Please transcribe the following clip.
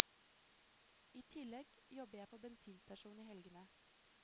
I tillegg jobber jeg på bensinstasjon i helgene.